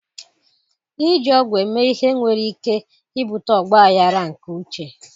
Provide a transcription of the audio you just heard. Iji ọgwụ eme ihe nwere ike ibute ọgba aghara nke uche.